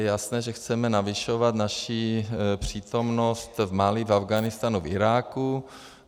Je jasné, že chceme navyšovat naši přítomnost v Mali, v Afghánistánu, v Iráku.